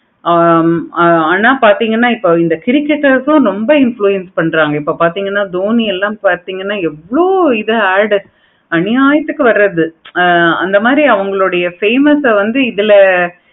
ஆஹ் உம் ஆனா பார்த்தீங்கன்னா இப்ப இந்த சிரிக்குறதுக்கும் ரொம்ப influence பன்றாங்க. டோனி எல்லாம் பார்த்தீங்கன்னா எவ்வளோ இத orders அநியாயத்துக்கு வரத்து அந்த மாதிரி அவங்களுடைய famous ஆஹ் வந்து இதுல